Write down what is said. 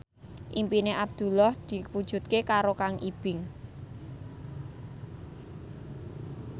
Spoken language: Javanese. impine Abdullah diwujudke karo Kang Ibing